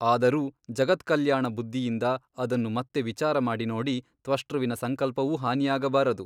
ಅದರೂ ಜಗತ್ಕಲ್ಯಾಣ ಬುದ್ಧಿಯಿಂದ ಅದನ್ನು ಮತ್ತೆ ವಿಚಾರಮಾಡಿ ನೋಡಿ ತ್ವಷ್ಟೃವಿನ ಸಂಕಲ್ಪವೂ ಹಾನಿಯಾಗಬಾರದು.